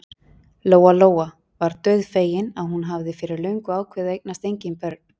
Lóa-Lóa var dauðfegin að hún hafði fyrir löngu ákveðið að eignast engin börn.